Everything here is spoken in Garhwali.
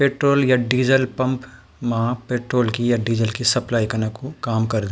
पेट्रोल या डीजल पंप मा पेट्रोल की या डीजल की सप्लाई कना कु काम कर्द --